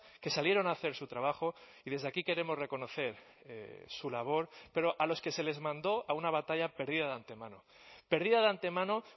que salieron a hacer su trabajo y desde aquí queremos reconocer su labor pero a los que se les mandó a una batalla perdida de antemano perdida de antemano